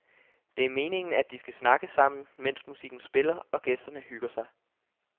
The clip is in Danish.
Det er meningen, at de skal snakke sammen, mens musikken spiller og gæsterne hygger sig.